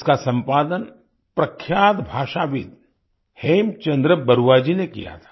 इसका सम्पादन प्रख्यात भाषाविद् हेमचन्द्र बरुआ जी ने किया था